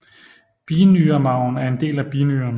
Binyremarven er en del af binyren